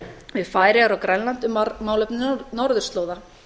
við færeyjar og grænland um málefni norðurslóða